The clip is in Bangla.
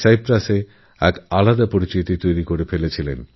সাইপ্রাসএও নিজের কাজের বিশেষ স্বীকৃতি পেয়েছেন